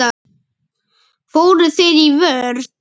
Fóru þeir í vörn?